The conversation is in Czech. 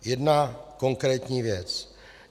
Jedna konkrétní věc.